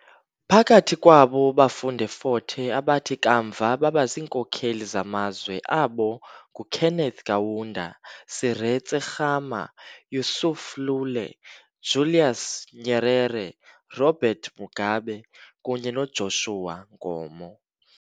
Phakathi kwabo bafunda eFort Hare abathi kamva baba ziinkokeli zamazwe abo nguKenneth Kaunda, Seretse Khama, Yusuf Lule, Julius Nyerere, Robert Mugabe kunye noJoshua Nkomo .